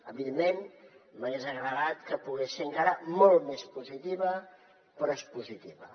evidentment m’hagués agradat que hagués pogut ser encara molt més positiva però és positiva